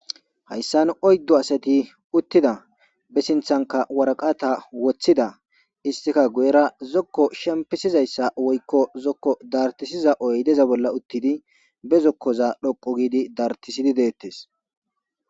hayssan oyddo asati uttida be sinthanka waraqata woththida istika guyera zokko shempisizayssa woykko zokko dartisiza oy deza bolla uttidi be zokkoza dhoqo giidi dartisidi deettes